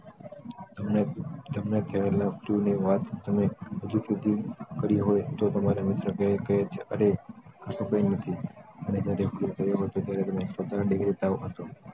તમને તમને લાગતું હોય આ વાત ક તમે હજુ સુધી કરી હોય તો તમારા મિત્ર કહીક કહે છે રી નથી